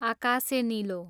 आकासे निलो